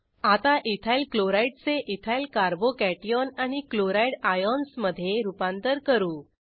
आता इथायलक्लोराइड चे ethyl carbo cation आणि क्लोराइड आयन्समधे रूपांतर करू